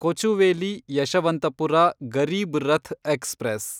Kochuveli Yeshwantpur Garib Rath express